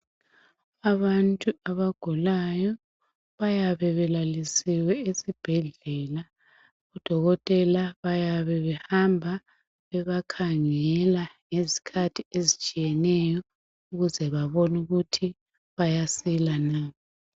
Abantu abagulayo bayabe belalisiwe esibhedlela. Odokotela bayabe behamba bebakhangela ngezkhathi ezitshiyeneyo ukuze bebon' ukuthi bayasila na.